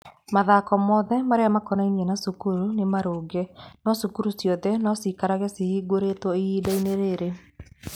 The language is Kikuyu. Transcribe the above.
Mathako mothe marĩa makonainie na cukuru nĩ marũngiĩ, no cukuru ciothe no ciikarage cihingũrĩtwo ihinda-inĩ rĩrĩ.